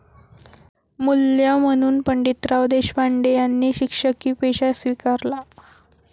मूल्य म्हणून पंडितराव देशपांडे यांनी शिक्षकी पेशा स्वीकारला.